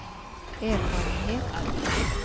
erfarenhet